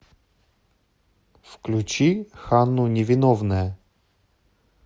включи ханну невиновная